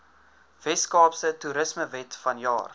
weskaapse toerismewet vanjaar